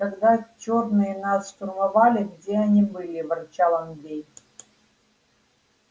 когда чёрные нас штурмовали где они были ворчал андрей